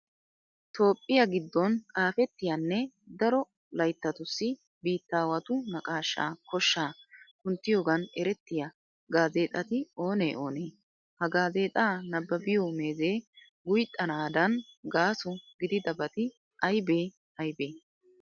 Toophphiya giddon xaafettiyanne daro layttatussi biittaawatu naqaashaa koshshaa kunttiyogan erettiya gaazeexati oonee oonee? Ha gaazeexaa nabbabiyo meezee guyxxanaadan gaaso gididabati aybee aybee?